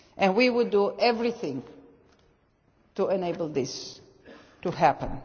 We will do everything to enable this to happen.